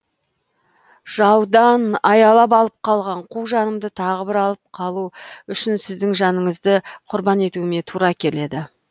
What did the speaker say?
жаудан аялап алып қалған қу жанымды тағы бір алып қалу үшін сіздің жаныңызды құрбан етуіме тура келеді